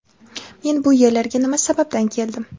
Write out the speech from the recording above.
men bu yerlarga nima sababdan keldim?.